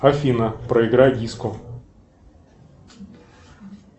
афина проиграй диско